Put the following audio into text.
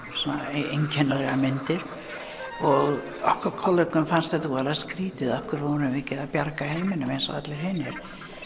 einkennilegar myndir og okkar kollegum fannst þetta voðalega skrítið af hverju vorum við ekki að bjarga heiminum eins og allir hinir